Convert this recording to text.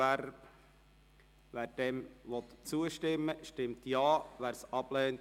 Wer diesem Gesetz zustimmen will, stimmt Ja, wer dies nicht will, stimmt Nein.